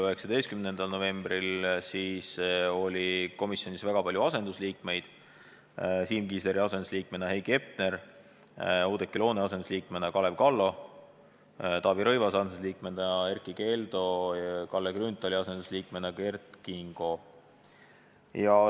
19. novembril oli komisjonis väga palju asendusliikmeid: Siim Kiisleri asendusliikmena Heiki Hepner, Oudekki Loone asendusliikmena Kalev Kallo, Taavi Rõivase asendusliikmena Erkki Keldo, Kalle Grünthali asendusliikmena Kert Kingo.